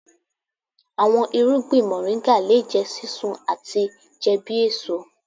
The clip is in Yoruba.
Awọn irugbin Moringa le jẹ sisun ati jẹ bi eso.